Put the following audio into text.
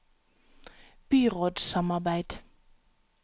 byrådssamarbeid